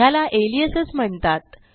ह्याला अलियासेस म्हणतात